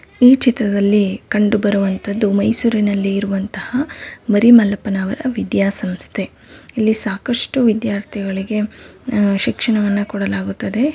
ಈ ಚಿತ್ರದಲ್ಲಿ ಕಂಡುಬರುವಂತದ್ದು ಮೈಸೂರಿನಲ್ಲಿ ಇರುವಂತಹ ಮರಿ ಮಲ್ಲಪನವರ ವಿದ್ಯಾಸಂಸ್ಥೆ ಇಲ್ಲಿ ಸಾಕಷ್ಟು ವಿದ್ಯಾರ್ಥಿಗಳಿಗೇ ಅಹ್ ಶಿಕ್ಷಣವನ್ನ ಕೊಡಲಾಗುತ್ತದೆ.